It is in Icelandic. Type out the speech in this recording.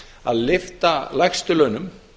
að lyfta lægstu launum